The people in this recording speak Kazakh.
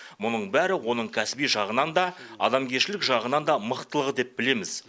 мұның бәрі оның кәсіби жағынан да адамгершілік жағынан да мықтылығы деп білеміз